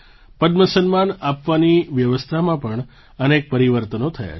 પદ્મ સન્માન આપવાની વ્યવસ્થામાં પણ અનેક પરિવર્તનો થયાં છે